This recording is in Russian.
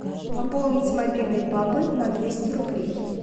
пополнить мобильный папы на двести рублей